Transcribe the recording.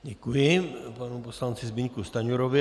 Děkuji panu poslanci Zbyňku Stanjurovi.